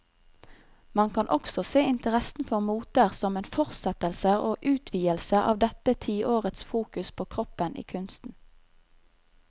Man kan også se interessen for moter som en fortsettelse og utvidelse av dette tiårets fokus på kroppen i kunsten.